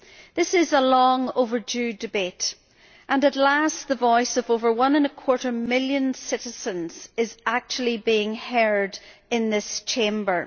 This is a long overdue debate, and at last the voice of over one and a quarter million citizens is actually being heard in this Chamber.